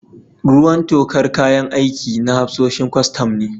Ruwan tokar kayan aikin na hafsoshin kwastam ne.